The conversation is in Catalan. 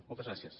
moltes gràcies